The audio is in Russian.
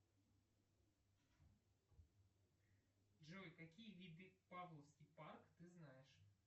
джой какие виды павловский парк ты знаешь